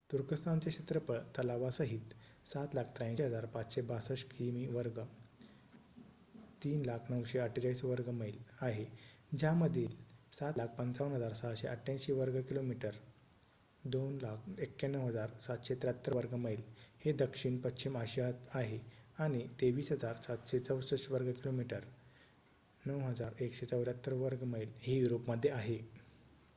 तुर्कस्थानचे क्षेत्रफळ तलावासाहित 783,562 किमी वर्ग 300,948 वर्ग मैल आहे ज्यामधील 755,688 वर्ग किलोमीटर 291,773 वर्ग मैल हे दक्षिण पश्चिम आशियात आहे आणि 23,764 वर्ग किलोमीटर 9,174 वर्ग मैल हे युरोपमध्ये आहे